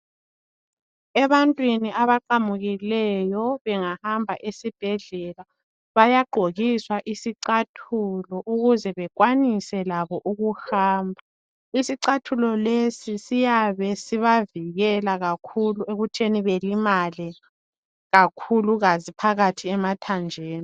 Ebantwini abaqamukileyo bengahamba esibhedlela bayagqokiswa isicathulo ukuze bekwanise labo ukuhamba. Isicathulo lesi siyabe sibavikela kakhulu ekutheni belimale kakhulukazi phakathi emathanjeni.